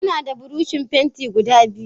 Yana da buroshi fenti guda biyu.